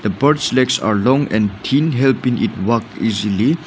the birds legs are long and thin here been it walk easily.